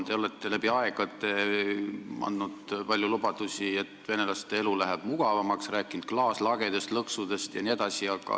Te olete läbi aegade andnud palju lubadusi, et venelaste elu läheb mugavamaks, rääkinud klaaslagedest, lõksudest jne.